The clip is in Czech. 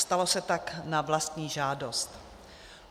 Stalo se tak na vlastní žádost.